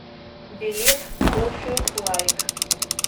билет кофе лайк